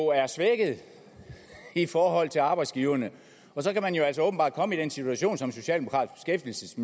er svækket i forhold til arbejdsgiverne og så kan man jo altså åbenbart komme i den situation som socialdemokratisk